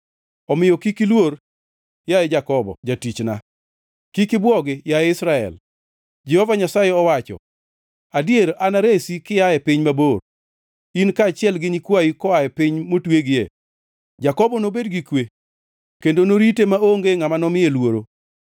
“ ‘Omiyo kik iluor, yaye Jakobo jatichna; kik ibwogi, yaye Israel,’ Jehova Nyasaye owacho. ‘Adier anaresi kia e piny mabor, in kaachiel gi nyikwayi koaye piny motwegie. Jakobo nobed gi kwe kendo norite maonge ngʼama nomiye luoro.